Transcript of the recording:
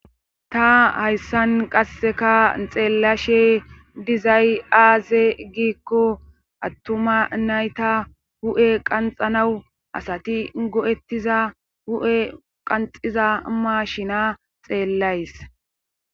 Ta hayssan qasseka xeellashe dizay aaze giikko attuma nayta hu7e qanxanawu asati go7ettiza hu7e qanxiza mashina xeellays